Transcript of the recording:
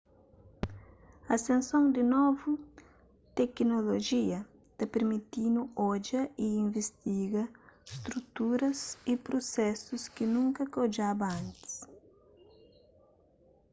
asenson di novu teknolojia ta permiti-nu odja y invistiga struturas y prusesus ki nunka ka odjada antis